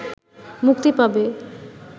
মুক্তি পাবে